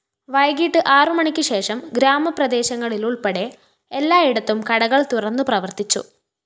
വൈകിട്ട് ആറുമണിക്ക് ശേഷം ഗ്രാമപ്രദേശങ്ങളിലുള്‍പ്പെടെ എല്ലായിടത്തും കടകള്‍ തുറന്ന് പ്രവര്‍ത്തിച്ചു